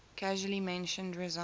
casually mentioned resigning